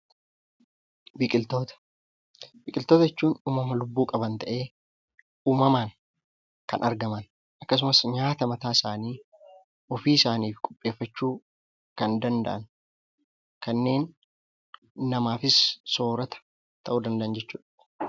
Biqiltoota Biqiltoota jechuun uumama lubbuu qaban ta'ee, uumamaan kan argaman akkasumas nyaata mataa isaanii ofii isaaniif qopheeffachuu kan danda'an, kanneen namaafis soorata ta'uu danda'an jechuudha.